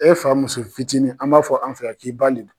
E fa muso fitinin an b'a fɔ an fɛ yan k'i b'a nɛni.